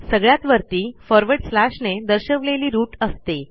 सगळ्यात वरती फॉरवर्ड स्लॅशने दर्शवलेली रूट असते